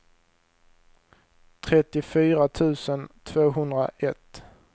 trettiofyra tusen tvåhundraett